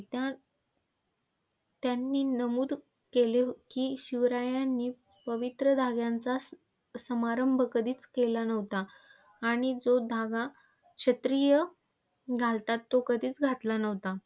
त्या त्यांनी नमूद केले की शिवरायांनी पवित्र धाग्यांचा समारंभ कधीच केला नव्हता. आणि जो धागा क्षत्रिय घालतात तो कधीच घातला नव्हता.